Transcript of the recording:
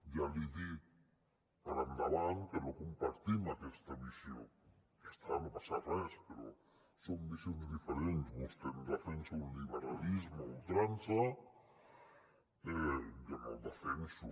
ja li dic per endavant que no compartim aquesta visió ja està no passa res però són visions diferents vostè em defensa un liberalisme a ultrança jo no el defenso